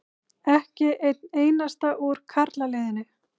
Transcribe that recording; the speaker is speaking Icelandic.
Ekki einn einasta úr karlaliðinu.